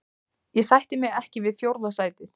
Ég sætti mig ekki við fjórða sætið.